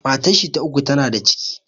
Matar shi ta uku ta na da ciki